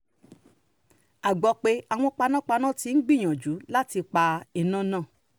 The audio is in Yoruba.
a gbọ́ pé àwọn panápaná ti ń gbìyànjú láti pa iná náà